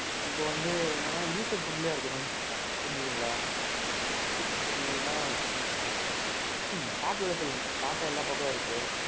இப்போ வந்து என்னன்னா user friendly இருக்கணும். புரிஞ்சதுங்களா? user friendly நா, Tataல சொல்லுங்க. TATA எல்லாப்பக்கமும் இருக்கு.